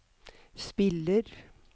spiller